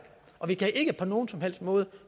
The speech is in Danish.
og vi kan ikke på nogen som helst måde